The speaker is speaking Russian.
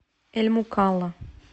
эль мукалла